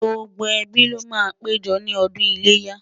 gbógbó ẹbí ló má pé jọ ní ọdún iléyá